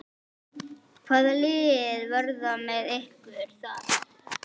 Hvaða lið verða með ykkur þar?